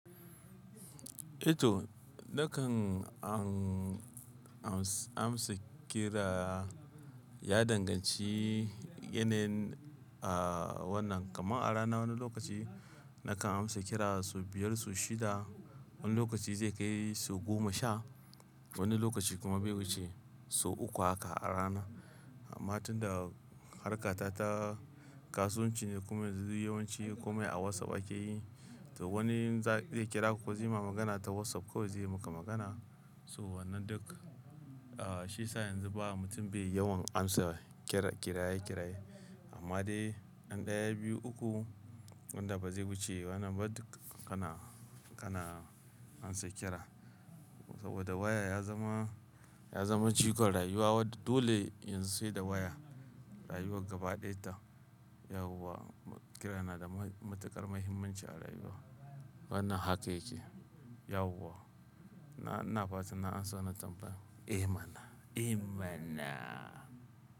Ito, nakan amsa kira ya danganci yanayin wannan. Kaman a rana wani lokaci nakan amsa kirar sau biyar, sau shida. Wani lokaci zai kai sau goma sha. Wani lokaci kuma bai wuce sau uku haka a rana. Amma tunda harkar ta kasuwanci ne kuma yawanci komai a WhatsApp ake yi, to wani zai kira ku ko zai ma magana ta WhatsApp kawai zai maka magana. To wannan duk, shi sa yanzu ba mutum bai yawan amsa kira kiraye kiraye. Amma dai ɗaya, biyu, uku wanda ba zai wuce wannan ba duk kana, kana amsa kira. Saboda waya ya zama, ya zama jigon rayuwa. Wadda dole yanzu sai da waya rayuwar gaba ɗaya ta. Yauwa kira na da matuƙar muhimmanci a rayuwa. Wannan haka yake yauwa. Na, ina fatan na amsa wannan tambayar. Eh mana, eh mana.